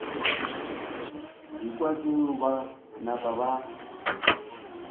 ekwa tšeo ba napa ba